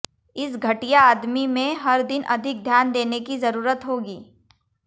इस घटिया आदमी में हर दिन अधिक ध्यान देने की जरूरत होगी